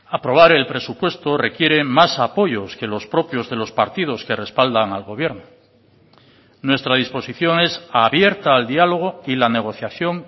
aprobar el presupuesto requiere más apoyos que los propios de los partidos que respaldan al gobierno nuestra disposición es abierta al dialogo y la negociación